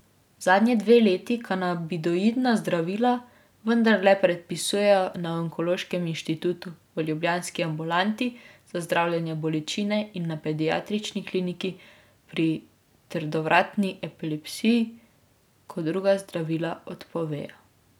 Zadnji dve leti kanabinoidna zdravila vendarle predpisujejo na onkološkem inštitutu, v ljubljanski ambulanti za zdravljenje bolečine in na pediatrični kliniki pri trdovratni epilepsiji, ko druga zdravila odpovejo.